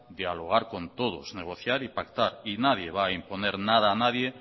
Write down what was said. dialogar con todos negociar y pactar y nadie va a imponer nada a nadie